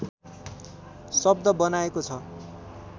शब्द बनाएको छ